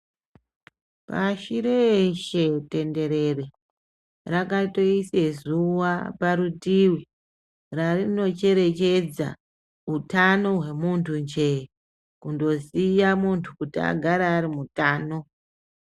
Pashi reshe tenderere rakatoise zuwa parutivi rarinocherechedza utano hwemuntu nje Kundoziya muntu kuti agare ari mutano.